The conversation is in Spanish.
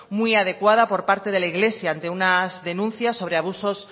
muy adecuada por parte de la iglesia ante unas denuncias sobre abusos